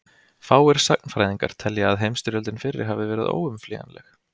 Fáir sagnfræðingar telja að heimsstyrjöldin fyrri hafi verið óumflýjanleg.